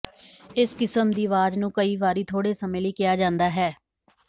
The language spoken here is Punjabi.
ਇਸ ਕਿਸਮ ਦੀ ਆਵਾਜ਼ ਨੂੰ ਕਈ ਵਾਰੀ ਥੋੜੇ ਸਮੇਂ ਲਈ ਕਿਹਾ ਜਾਂਦਾ ਹੈ